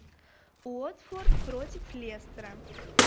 уотфорд против лестера